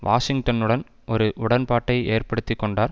வாஷிங்டனுடன் ஒரு உடன்பாட்டை ஏற்படுத்தி கொண்டார்